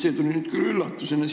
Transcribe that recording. See tuli nüüd küll üllatusena!